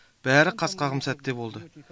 бәрі қас қағым сәтте болды